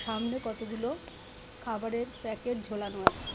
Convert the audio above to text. সামনে কতগুলো খাবারের প্যাকেট ঝোলানো আছে.